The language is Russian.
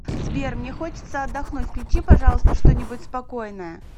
сбер мне хочется отдохнуть включи пожалуйста что нибудь спокойное